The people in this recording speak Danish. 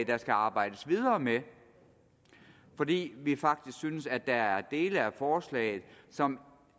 der skal arbejdes videre med fordi vi faktisk synes at der er dele af forslaget som